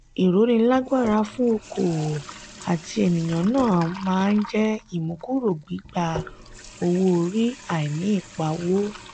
ìrónilágbára fún okoòwò àti ènìyàn náà máa jẹ ìmúkúrò gbigba owó-orí àìní ìpawó.